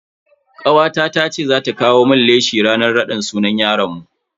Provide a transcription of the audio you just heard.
Kawata tace za ta kawo mun leshi ranan raɗin sunan yaron mu.